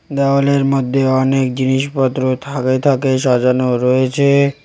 দেওয়ালের মধ্যে অনেক জিনিসপত্র থাকে থাকে সাজানো রয়েছে।